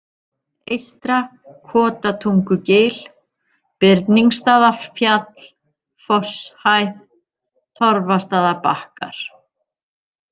Eystra-Kotatungugil, Birningsstaðafjall, Fosshæð, Torfastaðabakkar